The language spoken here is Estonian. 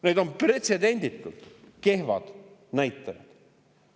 Need on pretsedenditult kehvad näitajad.